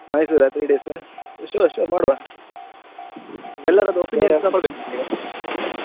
Mysore ಆ three days, sure sure ಮಾಡುವ ಈಗ.